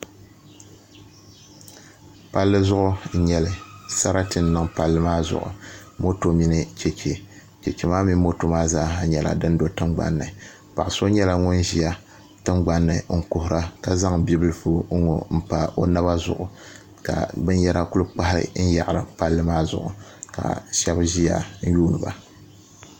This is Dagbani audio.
Palli zuɣu n nyɛli sarati n niŋ palli maa zuɣu moto mini chɛchɛ chɛchɛ maa mini moto maa zaa nyɛla din do tingbanni paɣa so nyɛla ŋun ʒiya tingbanni n kuhura ka zaŋ bibilfu n ŋo n pa o naba zuɣu kabinyɛra ku kpahi n yahari palli maa zuɣu ka shab ʒiya n yuundiba